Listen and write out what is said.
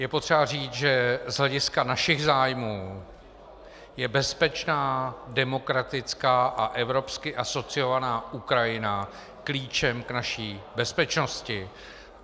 Je potřeba říct, že z hlediska našich zájmů je bezpečná, demokratická a evropsky asociovaná Ukrajina klíčem k naší bezpečnosti.